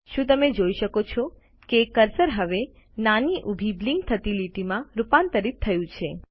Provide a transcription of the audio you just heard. શું તમે જોઈ શકો છો કે કર્સર હવે નાની ઊભી બ્લિંક થતી લીટી માં રૂપાંતરિત થયું છે